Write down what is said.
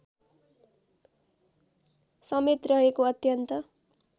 समेत रहेको अत्यन्त